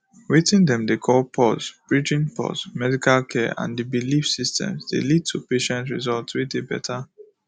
weting dem dey call pause bridging pause medical care and the belief systems dey lead to patient results wey dey better